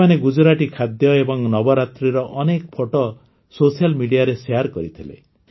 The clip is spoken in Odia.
ସେମାନେ ଗୁଜୁରାଟୀ ଖାଦ୍ୟ ଏବଂ ନବରାତ୍ରିର ଅନେକ ଫଟୋ ସୋସିଆଲ ମିଡିଆରେ ଶେୟାର କରିଥିଲେ